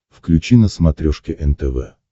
включи на смотрешке нтв